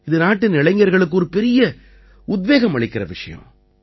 இது நாட்டின் இளைஞர்களுக்கு ஒரு பெரிய உத்வேகம் அளிக்கற விஷயம்